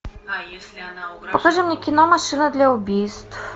покажи мне кино машина для убийств